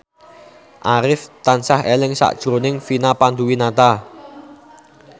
Arif tansah eling sakjroning Vina Panduwinata